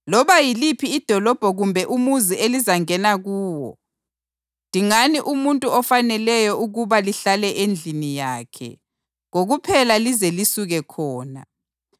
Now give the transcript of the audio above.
Loba yiliphi idolobho kumbe umuzi elingena kuwo, dingani umuntu ofaneleyo ukuba lihlale endlini yakhe kokuphela lize lisuke khona.